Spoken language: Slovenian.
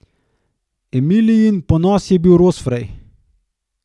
Emilijin ponos je bil rostfraj.